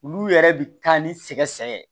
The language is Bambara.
Olu yɛrɛ bi taa ni sɛgɛsɛgɛ ye